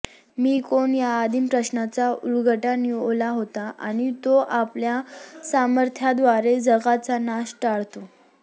मी कोण या आदिम प्रश्नाचा उलगडा निओला होतो आणि तो आपल्या सामर्थ्याद्वारे जगाचा नाश टाळतो